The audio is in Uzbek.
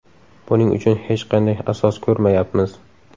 Buning uchun hech qanday asos ko‘rmayapmiz.